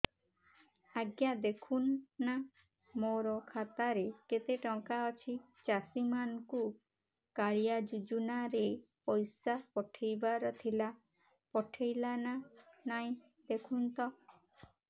ଆଜ୍ଞା ଦେଖୁନ ନା ମୋର ଖାତାରେ କେତେ ଟଙ୍କା ଅଛି ଚାଷୀ ମାନଙ୍କୁ କାଳିଆ ଯୁଜୁନା ରେ ପଇସା ପଠେଇବାର ଥିଲା ପଠେଇଲା ନା ନାଇଁ ଦେଖୁନ ତ